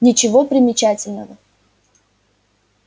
ничего примечательного